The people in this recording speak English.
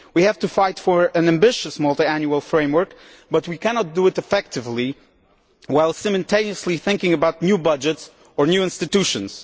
we have to fight for an ambitious multiannual framework, but we cannot do it effectively while simultaneously thinking about new budgets or new institutions.